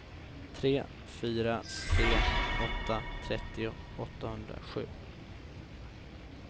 tre fyra tre åtta trettio åttahundrasju